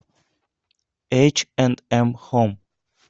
эйч энд эм хоум